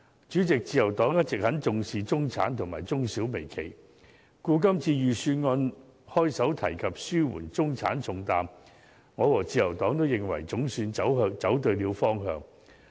主席，自由黨一直很重視中產及中小微企，故此今次財政預算案開首提及紓緩中產重擔，我和自由黨均認為總算走對了方向。